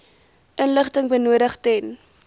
inligting benodig ten